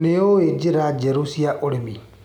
Nĩũĩ njĩra njerũ cia ũrĩmi.